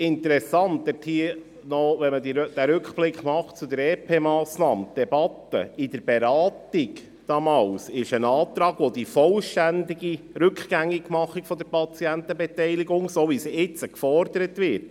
Interessant ist, wenn man auf die Debatte zur EP-Massnahme zurückblickt, dass es damals Anträge gab, welche die vollständige Rückgängigmachung der Patientenbeteiligung vorsahen, die jetzt gefordert wird.